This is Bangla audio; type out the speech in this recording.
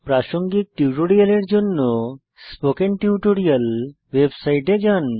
প্রাসঙ্গিক টিউটোরিয়ালের জন্য স্পোকেন টিউটোরিয়াল ওয়েবসাইটে যান